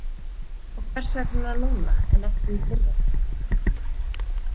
Og hvers vegna núna en ekki í fyrra?